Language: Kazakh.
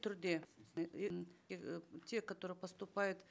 түрде те которые поступают